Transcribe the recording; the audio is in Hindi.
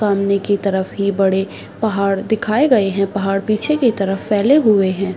सामने की तरफ ये बड़े पहाड़ दिखाए गए हैं | पहाड़ पीछे की तरफ फैले हुए हैं ।